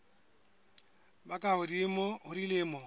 ba ka hodimo ho dilemo